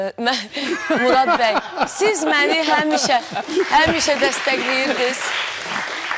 Mən Murad bəy, siz məni həmişə, həmişə dəstəkləyirdiz.